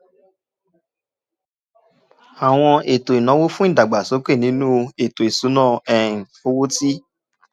àwọn ètò ìnáwó fún ìdàgbàsókè nínú ètò ìṣúnná um owó ti